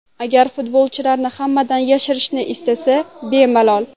Agar futbolchilarini hammadan yashirishni istasa bemalol.